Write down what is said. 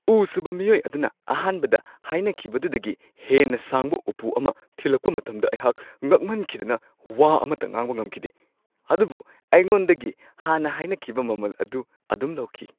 ꯎ-ꯁꯨꯕ ꯃꯤꯑꯣꯏ ꯑꯗꯨꯅ ꯑꯍꯥꯟꯕꯗ ꯍꯥꯏꯅꯈꯤꯕꯗꯨꯗꯒꯤ ꯍꯦꯟꯅ ꯁꯥꯡꯕ ꯎꯄꯨ ꯑꯃ ꯊꯤꯂꯛꯄ ꯃꯇꯝꯗ ꯑꯩꯍꯥꯛ ꯉꯛꯃꯟꯈꯤꯗꯅ ꯋꯥ ꯑꯃꯠꯇ ꯉꯥꯡꯕ ꯉꯝꯈꯤꯗꯦ, ꯑꯗꯨꯕꯨ ꯑꯩꯉꯣꯟꯗꯒꯤ ꯍꯥꯟꯅ ꯍꯥꯏꯅꯈꯤꯕ ꯃꯃꯜ ꯑꯗꯨ ꯑꯗꯨꯝ ꯂꯧꯈꯤ ꯫